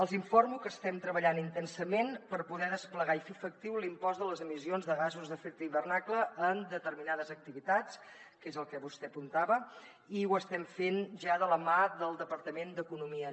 els informo que estem treballant intensament per poder desplegar i fer efectiu l’impost de les emissions de gasos d’efecte hivernacle en determinades activitats que és el que vostè apuntava i ho estem fent ja de la mà del departament d’economia